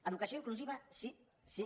educació inclusiva sí sí